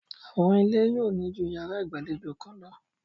Àwọn ilé yóò ní ju yàrá ìgbàlejò kan lọ.